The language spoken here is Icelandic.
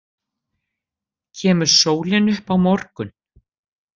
Kemur sólin upp á morgun?